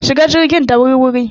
Shiga jirgin da wur-wuri!